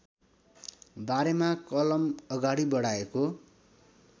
बारेमा कलम अगाडि बढाएको